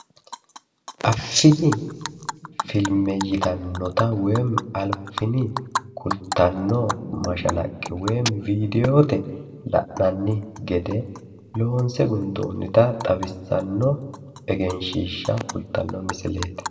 Affini filme yitannota woyiimmi affini kultanno mashalaqqe woyiimmi vidiyoote la'nanni gede loonse gundoonnita xawissanno egenshiishsha kultanno misileeti